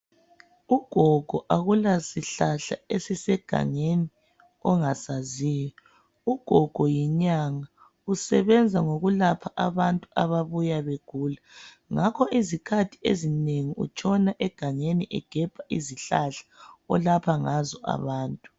Ugogo akulasihlahla esisegangeni ongasaziyo. Ugogo yinyanga, usebenza ngokulapha abantu ababuya begula, ngakho izikhathi ezinengi utshona egangeni egebha izihlahla olapha ngazo abantu.